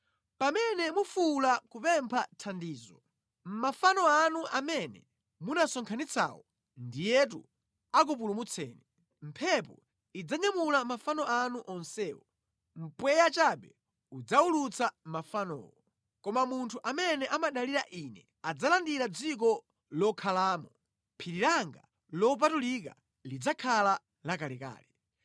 Pamene mufuwula kupempha thandizo, mafano anu amene munasonkhanitsawo ndiyetu akupulumutseni! Mphepo idzanyamula mafano anu onsewo, mpweya chabe udzawulutsa mafanowo. Koma munthu amene amadalira ine adzalandira dziko lokhalamo. Phiri langa lopatulika lidzakhala lakelake.”